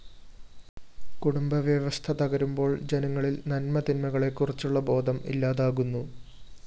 കുടുംബവ്യവസ്ഥ തകരുമ്പോള്‍ ജനങ്ങളില്‍ നന്മതിന്മകളെക്കുറിച്ചുള്ള ബോധം ഇല്ലാതാകുന്നു